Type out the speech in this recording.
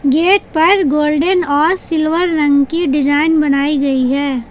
Gate पर golden और silver रंग की डिजाइन बनाई गई है।